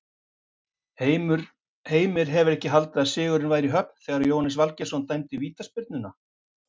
Heimir hefur ekki haldið að sigurinn væri í höfn þegar Jóhannes Valgeirsson dæmdi vítaspyrnuna?